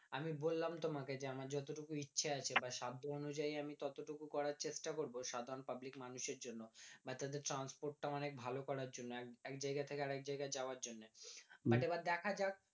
আমি বললাম তোমাকে যে আমার যত টুকুন ইচ্ছে আছে বা সেদ্ধ অনুযায়ী আমি টোটো টুকুন করার চেষ্টা করবো আমি সাধারণ পাবলিক মানুষের জন্যে বা তাদের transport টা মানে অনেক ভালো করার জন্যে এক জায়গায় থেকে আরেক জায়গায় যাওয়ার জন্যে এইবার দেখা যাক